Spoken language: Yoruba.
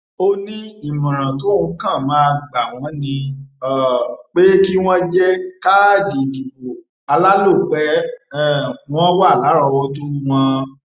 ó ní ìmọràn tóun kàn máa gbà wọn ni um pé kí wọn jẹ káàdì ìdìbò alálòpẹ um wọn wà lárọọwọtó wọn